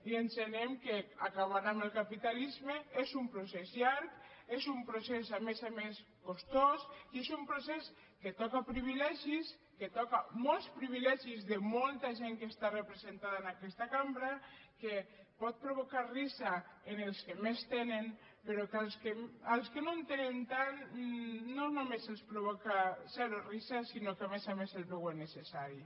i entenem que acabar amb el capitalismes és un procés llarg és un procés a més a més costós i és un procés que toca privilegis que toca molts privilegis de molta gent que està representada en aquesta cambra que pot provocar riure en els que més tenen però que als que no en tenen tant no només els provoca zero riure sinó que a més a més el veuen necessari